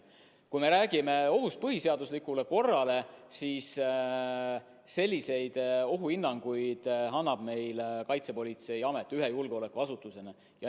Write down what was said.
Kui me räägime ohust põhiseaduslikule korrale, siis selliseid ohuhinnanguid annab meile Kaitsepolitseiamet ühe julgeolekuasutusena.